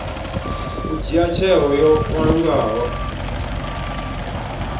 u dzhia tsheo yo kalulaho